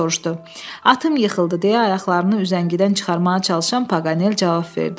Atım yıxıldı deyə ayaqlarını üzəngidən çıxarmağa çalışan Paqanel cavab verdi.